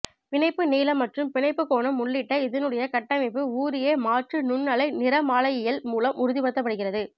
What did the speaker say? பிணைப்பு நீளம் மற்றும் பிணைப்புக் கோணம் உள்ளிட்ட இதனுடைய கட்டமைப்பு வூரியே மாற்று நுண் அலை நிறமாலையியல் மூலம் உறுதிபடுத்தப்படுகிறத